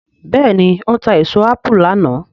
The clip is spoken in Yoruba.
béèni o ta èso apu lànà.